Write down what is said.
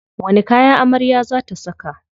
Wani kaya amarya za ta saka?